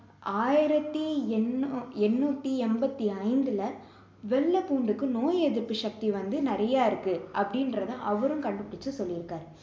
ஆயிரத்தி எண்ணு~ எண்ணூத்தி எண்பத்தி ஐந்துல வெள்ளை பூண்டுக்கு நோய் எதிர்ப்பு சக்தி வந்து நிறைய இருக்கு அப்படின்கிறதை அவரும் கண்டுபிடிச்சி சொல்லியிருக்காரு